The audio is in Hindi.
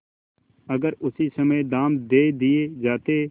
अगर उसी समय दाम दे दिये जाते